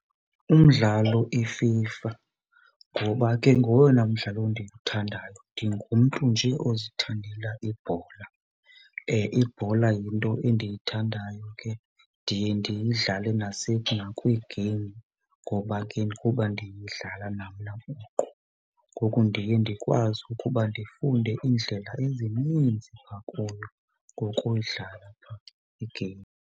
Umdlalo iFIFA, ngoba ke ngowona mdlalo ndiwuthandayo, ndingumntu nje ozithandela ibhola. Ibhola yinto endiyithandayo ke, ndiye ndidlale nakwii-game ngoba ke kuba ndiyidlala namna buqu. Ngoku ndiye ndikwazi ukuba ndifunde iindlela ezininzi phaa kuyo ngokudlala phaa i-game.